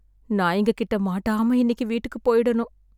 நாய்ங்க கிட்டே மாட்டாம இன்னைக்கு வீட்டுக்கு போயிடனும்.